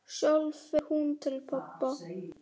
Sjálf fer hún til pabba.